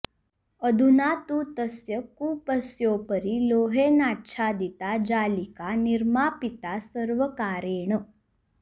अधुना तु तस्य कूपस्योपरि लोहेनाच्छादिता जालिका निर्मापिता सर्वकारेण